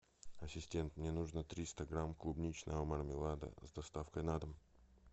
ассистент мне нужно триста грамм клубничного мармелада с доставкой на дом